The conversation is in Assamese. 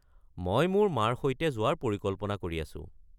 মই মোৰ মাৰ সৈতে যোৱাৰ পৰিকল্পনা কৰি আছো।